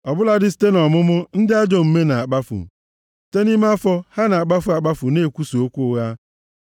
Ọ bụladị site nʼọmụmụ, ndị ajọ omume na-akpafu; site nʼime afọ, ha na-akpafu akpafu na-ekwusa okwu ụgha.